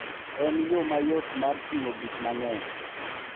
En yo mayot mar ting'o gik mang'eny.